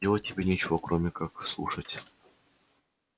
делать тебе нечего кроме как слушать